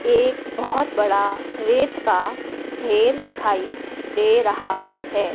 एक बहोत बड़ा रेत का ढेर दिखाई दे रहा है।